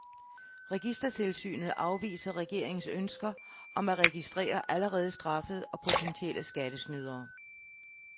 Registertilsynet afviser regeringens ønsker om at registrere allerede straffede og potentielle skattesnydere.